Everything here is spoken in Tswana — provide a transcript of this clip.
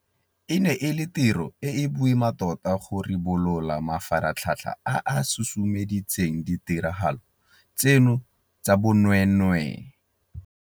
E ne e le tiro e e boima tota go ribolola mafaratlhatlha a a susumeditseng ditiragalo tseno tsa bonweenwee.